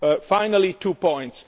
Finally, two points.